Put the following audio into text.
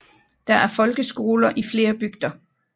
Der er folkeskoler i flere bygder